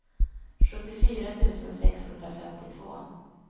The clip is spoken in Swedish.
sjuttiofyra tusen sexhundrafemtiotvå